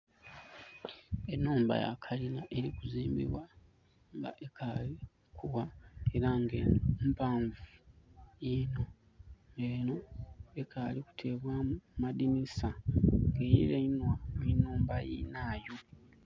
Enhumba yakalina erikuzimbibwa nga ekaali kuwa era nga eno mpaanvu eno ekaali kuteebwamu madinisa erirainwa nhinhumba yinayo.